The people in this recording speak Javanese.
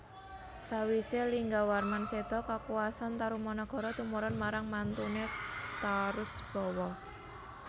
Sawisé Linggawarman séda kakuwasan Tarumanagara tumurun marang mantuné Tarusbawa